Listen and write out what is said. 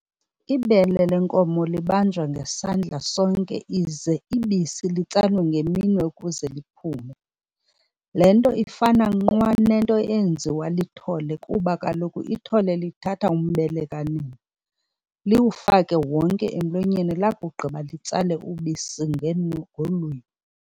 Ibele lenkomo libanjwa ngesandla sonke ize ibisi litsalwe ngeminwe ukuze liphume, le nto ifana nqwa nento eyenziwa lithole kuba kaloku ithole lithatha umbele kanina liwufake wonke emlonyeni lakugqiba litsale ubisi ngolwimi.